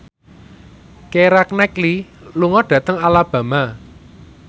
Keira Knightley lunga dhateng Alabama